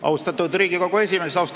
Austatud Riigikogu esimees!